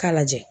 K'a lajɛ